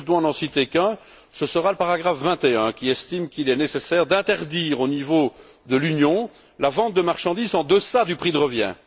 Mais si je dois n'en citer qu'un, ce sera le paragraphe 21, qui estime qu'il est nécessaire d'interdire au niveau de l'Union la vente de marchandises en deçà du prix de revient.